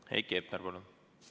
Heiki Hepner, palun!